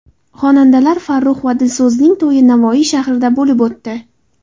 Xonandalar Farrux va Dilso‘zning to‘yi Navoiy shahrida bo‘lib o‘tdi.